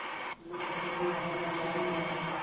ਨਫਤੀਆਂ ਨੇ ਐਸਾ ਇਲਜਾਮ ਲਾਇਆ